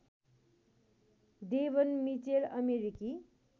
Devon Mitchell अमेरिकी